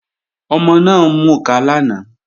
Ọmọ náà ń mukà lánàá